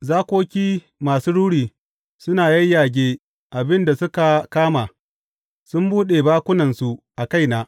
Zakoki masu ruri suna yayyage abin da suka kama sun buɗe bakunansu a kaina.